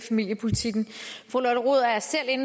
sige